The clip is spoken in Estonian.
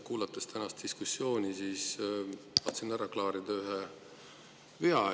Kuulasin tänast diskussiooni ja tahan ära klaarida ühe vea.